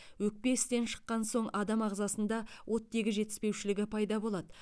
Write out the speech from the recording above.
өкпе істен шыққан соң адам ағзасында оттегі жетіспеушілігі пайда болады